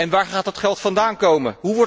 Waar gaat dat geld vandaan komen?